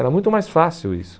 Era muito mais fácil isso.